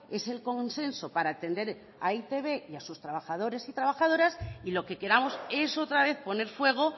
es el consenso para atender a e i te be y a sus trabajadores y trabajadoras y lo que queramos es otra vez poner fuego